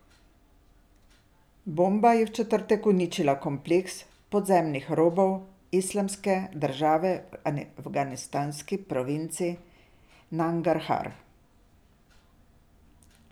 Bomba je v četrtek uničila kompleks podzemnih rovov Islamske države v afganistanski provinci Nangarhar.